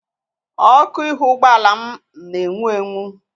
Ọkụ ihu ụgbọala m na-enwu enwu.